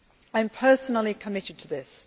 I am personally committed to this.